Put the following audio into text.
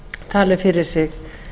tali fyrir sig